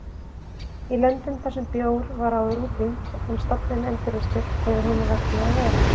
Í löndum þar sem bjór var áður útrýmt en stofninn endurreistur hefur honum vegnað vel.